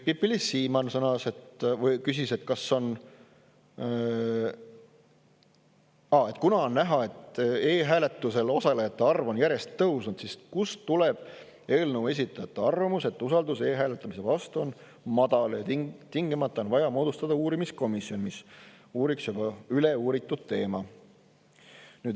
Pipi-Liis Siemann küsis, et kuna on näha, et e-hääletusel osalejate arv on järjest tõusnud, siis kust tuleb eelnõu esitajate arvamus, et usaldus e-hääletamise vastu on madal ja tingimata on vaja moodustada komisjon, mis uuriks seda juba läbi uuritud teemat.